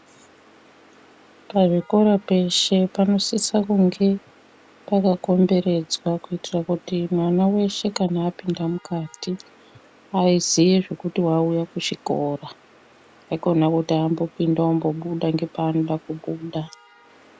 Pazvikora peshe panosisa kunge pakakomberedzwa kuitira kuti mwana weshe kana apindamo mukati azive zvekuti auya kuchikora aikona kuti apinda ombobufs nepanoda kubuda.